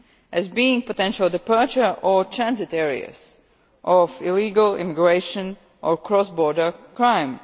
as being potential departure or transit areas for illegal immigration or cross border crime.